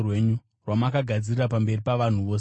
rwamakagadzirira pamberi pavanhu vose,